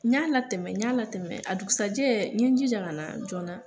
N y'a latɛmɛ, n y'a latɛmɛ. A dugusajɛ n ye jija kana jɔɔna